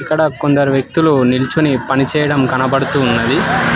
ఇక్కడ కొందరు వ్యక్తులు నిల్చొని పనిచేయడం కనబడుతూ ఉన్నది.